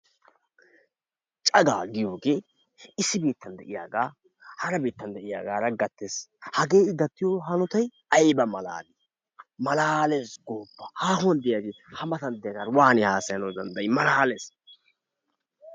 Cagaa giyoge issi biittan de'iyagaa hara biittan de'iyagaara gattes. Hagee I gattiyo hanotay ayiba malaali! Malaales gooppa haahuwan de'iyagee ha matan diyagaara waani haasayanawu danddayi! Malaales.